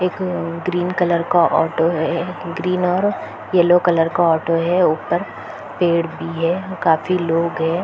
एक green colour का auto है ग्रीन और येलो कलर का ऑटो है ऊपर पेड़ भी है काफी लोग है ।